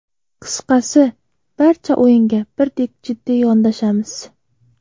Qisqasi, barcha o‘yinga birdek jiddiy yondashamiz.